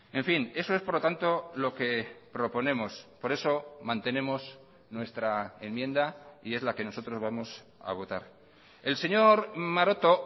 en fin eso es por lo tanto lo que proponemos por eso mantenemos nuestra enmienda y es la que nosotros vamos a votar el señor maroto